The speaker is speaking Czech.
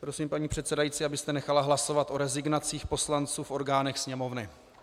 Prosím, paní předsedající, abyste nechala hlasovat o rezignacích poslanců v orgánech Sněmovny.